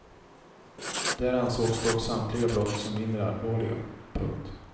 Där ansågs dock samtliga brott som mindre allvarliga. punkt